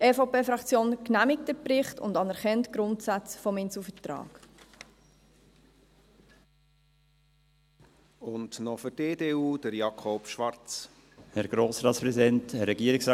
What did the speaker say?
Die EVP-Fraktion genehmigt den Bericht und anerkennt die Grundsätze des Inselvertrags.